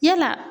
Yala